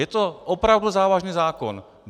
Je to opravdu závažný zákon!